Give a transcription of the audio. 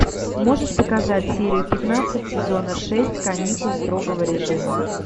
можешь показать серию пятнадцать сезона шесть каникул строгого режима